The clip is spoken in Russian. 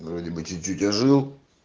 вроде бы чуть-чуть ожил